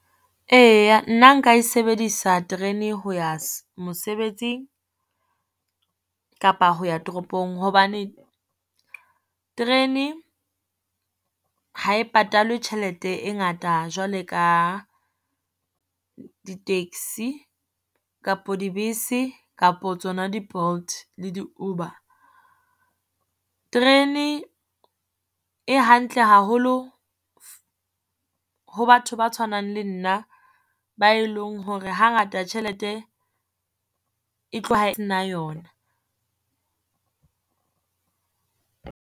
Eya nna nka e sebedisa terene ho ya mosebetsing kapa ho ya toropong. Hobane terene ha e patalwe tjhelete e ngata jwale ka di-taxi kapo dibese kapo tsona di-Bolt, le di-Uber. Terene e hantle haholo ho batho ba tshwanang le nna ba e leng hore hangata tjhelete e tloha na yona.